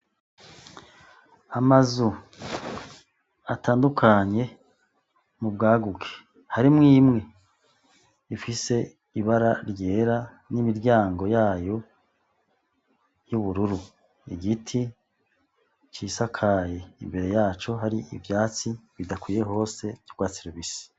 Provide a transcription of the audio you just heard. Amazu atandukanye mu bwaguke harimwo imwe ifise ibara ryera n'imiryango yayo y'ubururu, igiti cisakaye imbere yaco hari ivyatsi bidakwiye hose vy'urwatsi rubisi.